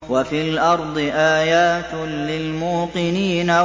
وَفِي الْأَرْضِ آيَاتٌ لِّلْمُوقِنِينَ